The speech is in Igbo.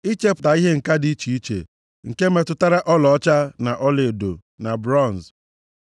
ichepụta ihe ǹka dị iche iche, nke metụtara ọlaọcha na ọlaedo na bronz,